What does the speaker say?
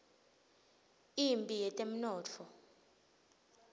imphi yetemnotfo